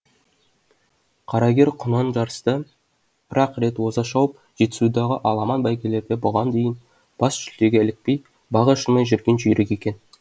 қарагер құнан жарыста бір ақ рет оза шауып жетісудағы аламан бәйгелерде бұған дейін бас жүлдеге ілікпей бағы ашылмай жүрген жүйрік екен